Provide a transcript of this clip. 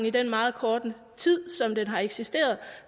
i den meget korte tid som den har eksisteret